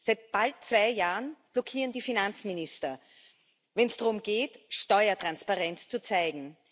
Seit bald zwei Jahren blockieren die Finanzminister, wenn es darum geht, Steuertransparenz zu zeigen.